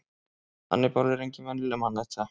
hannibal er engin venjuleg mannæta